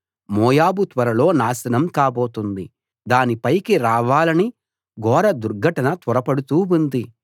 మోయాబు త్వరలో నాశనం కాబోతోంది దాని పైకి రావాలని ఘోర దుర్ఘటన త్వరపడుతూ ఉంది